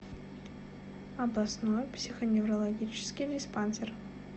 областной психоневрологический диспансер